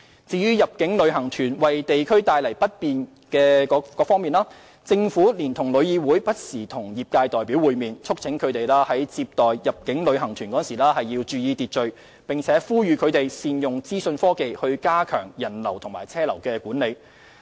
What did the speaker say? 至於入境旅行團為地區帶來不便的問題，政府連同旅議會不時與業界代表會面，促請他們接待入境旅行團時注意秩序，並呼籲他們善用資訊科技加強人流和車流管理。